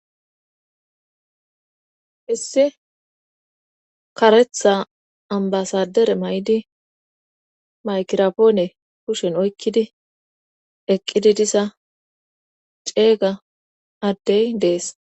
issi karetha ambasadere maydi maykirapoone kushen oykkidi eqqidi diza ceeyga addey dees